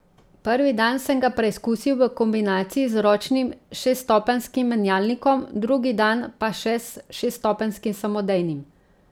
Prvi dan sem ga preizkusil v kombinaciji z ročnim šeststopenjskim menjalnikom, drugi dan pa še s šestopenjskim samodejnim.